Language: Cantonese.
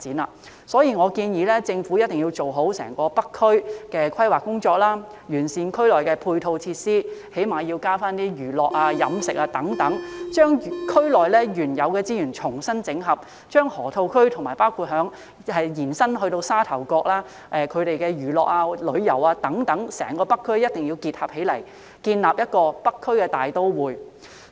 因此，我建議政府一定要做好整個北區的規劃工作，完善區內的配套設施，起碼要增設一些娛樂、飲食等設施，將區內原有的資源重新整合，將河套區與包括延伸至沙頭角在內的整個北區的娛樂、旅遊等設施結合起來，建立"北區大都會"。